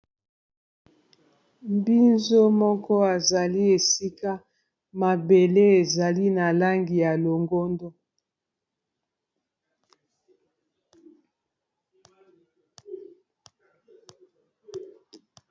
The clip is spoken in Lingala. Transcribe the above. Mbinzo moko azali esika mabele ezali na langi ya longondo.